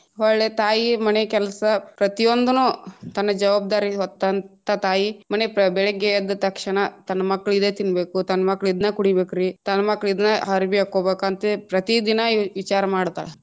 ಹೊಳ್ಳಿ ತಾಯಿ ಮನೆ ಕೆಲಸ ಪ್ರತಿ ಒಂದನು ತನ್ನ ಜವಾಬ್ದಾರಿ ಹೊತ್ತಂತ ತಾಯಿ ಮನೆ ಬೆಳಗ್ಗೆ ಎದ್ದ ತಕ್ಷಣ ತನ್ನ ಮಕ್ಳು ಇದೆ ತಿನ್ಬೇಕು ತನ್ನ ಮಕ್ಳು ಇದ್ನ ಕುಡಿಬೇಕ್ ರೀ ತನ್ನ ಮಕ್ಳು ಇದನ್ನ ಅರಬಿ ಹಾಕೊಬೇಕಂತ ಪ್ರತಿ ದಿನಾ ವಿಚಾರ ಮಾಡ್ತಾಳ.